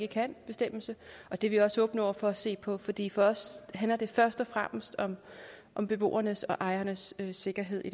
kan bestemmelse og det er vi også åbne over for at se på fordi for os handler det først og fremmest om om beboernes og ejernes sikkerhed i